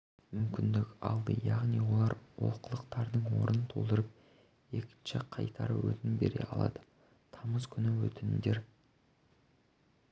мүмкіндік алды яғни олар олқылықтардың орнын толтырып екінші қайтара өтінім бере алды тамыз күні өтінімдер